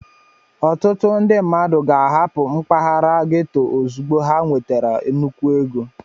Ọtụtụ ndị mmadụ ga-ahapụ mpaghara gétò ozugbo ha nwetara nnukwu ego